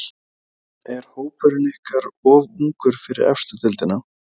En er hópurinn ykkar of ungur fyrir efstu deildina?